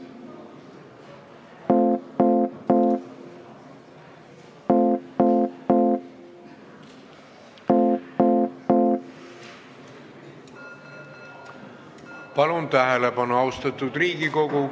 Palun tähelepanu, austatud Riigikogu!